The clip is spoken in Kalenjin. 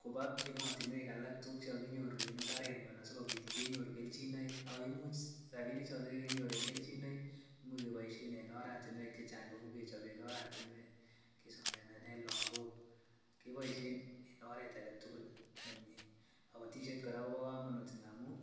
kobaa emotinwek alak tukuk chekokinyoru en imbarenyon asikobit kenyoru kelchinoik ak ko imuch rabishechoton chekokinyoru en kelchinoik imuch keboishen en oratinwek chechang kou kechoben oratinwek, kisomesanen lokok, keboishen en oreet aketukul nemie, kobotishet kora kobokomonut ng'amun